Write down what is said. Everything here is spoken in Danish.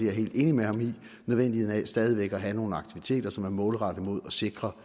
er helt enig med ham i nødvendigheden af stadig væk at have nogle aktiviteter som er målrettet mod at sikre